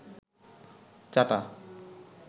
চাটা